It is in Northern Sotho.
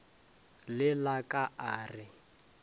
le la ka a re